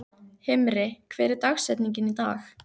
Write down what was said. Himri, hver er dagsetningin í dag?